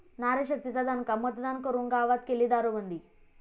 नारीशक्तीचा दणका, मतदान करून गावात केली दारूबंदी!